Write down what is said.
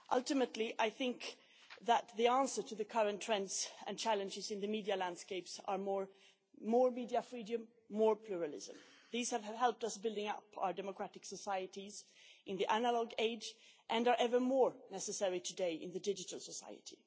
Ultimately, I think the answer to the current trends and challenges in the media landscapes are more media freedom, more pluralism. These have helped us build up our democratic societies in the analogue age and are ever more necessary today in the digital society.